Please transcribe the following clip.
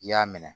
I y'a minɛ